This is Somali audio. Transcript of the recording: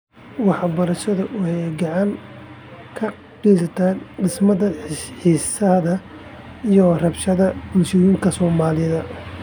Waxbarashadu waxay gacan ka geysataa dhimista xiisadaha iyo rabshadaha bulshooyinka Soomaalida.